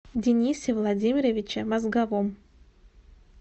денисе владимировиче мозговом